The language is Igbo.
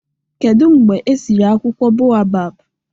Kedụ mgbe e siri akwụkwọ boabab?